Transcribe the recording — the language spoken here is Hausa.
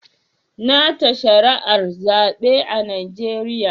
Na ta shari'ar zabe a Najeriya.